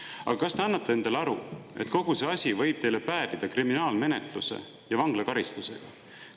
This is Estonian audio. Aga kas te annate endale aru, et kogu see asi võib teile päädida kriminaalmenetluse ja vanglakaristusega?